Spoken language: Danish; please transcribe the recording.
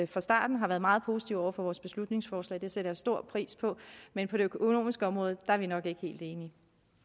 fra starten har været meget positive over for vores beslutningsforslag det sætter jeg stor pris på men på det økonomiske område er vi nok ikke helt enige